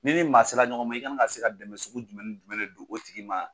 Ni ni maa sela ɲɔgɔn ma, i kan ka se ka dɛmɛ sugu jumɛnni jumɛn don o tigi ma.